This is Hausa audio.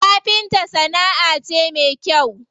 Kafinta sana'a ce me kyau.